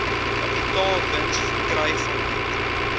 kapitaalwins verkry vanuit